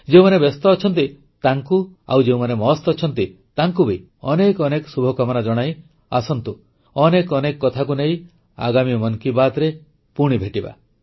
ଯେଉଁମାନେ ବ୍ୟସ୍ତ ଅଛନ୍ତି ତାଙ୍କୁ ଓ ଯେଉଁମାନେ ମସ୍ତ ଅଛନ୍ତି ତାଙ୍କୁ ବି ଅନେକ ଅନେକ ଶୁଭକାମନା ଜଣାଇ ଆସନ୍ତୁ ଅନେକ ଅନେକ କଥାକୁ ନେଇ ଆଗାମୀ ମନ କୀ ବାତ୍ରେ ପୁଣି ଭେଟିବା